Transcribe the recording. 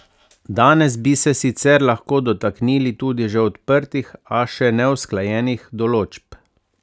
Danes bi se sicer lahko dotaknili tudi že odprtih, a še neusklajenih določb.